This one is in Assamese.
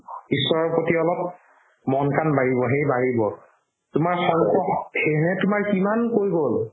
ঈশ্ৱৰৰ প্ৰতি অলপ মন কাণ বাঢ়িব সেই বাঢ়িব তোমাৰ সেয়েহে তোমাৰ কিমান কৈ গ'ল